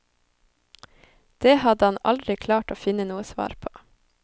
Det hadde han aldri klart å finne noe svar på.